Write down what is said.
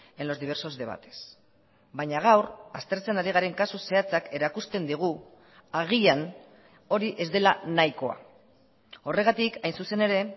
en los diversos debates baina gaur aztertzen ari garen kasu zehatzak erakusten digu agian hori ez dela nahikoa horregatik hain zuzen ere